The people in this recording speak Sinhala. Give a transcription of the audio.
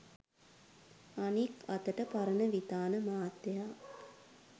අනික් අතට පරණවිතාන මහත්තයා